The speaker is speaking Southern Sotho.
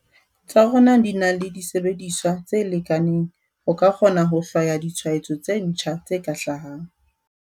tsa rona di na le disebediswa tse lekaneng ho ka kgona ho hlwaya ditshwaetso tse ntjha tse ka hlahang.